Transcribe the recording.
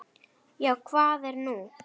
Já, hvað er nú?